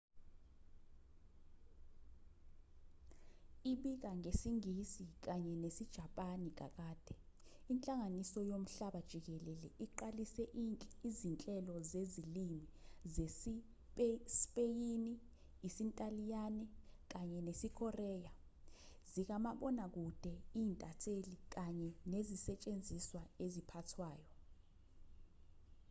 ibika ngesingisi kanye nesijapani kakade inhlangano yomhlaba jikelele iqalise izinhlelo zezilimi zesispeyini isintaliyane kanye nesikoreya zikamabonakude i-inthanethi kanye nezisetshenziswa eziphathwayo